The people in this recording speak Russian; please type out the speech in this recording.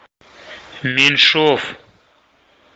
меньшов